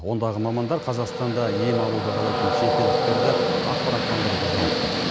ондағы мамандар қазақстанда ем алуды қалайтын шетелдіктерді ақпараттандыруға жауапты